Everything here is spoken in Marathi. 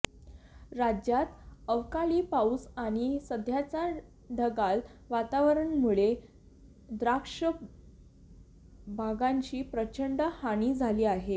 राज्यात अवकाळी पाऊस आणि सध्याच्या ढगाळ वातावरणामुळे द्राक्ष बागांची प्रचंड हानी झाली आहे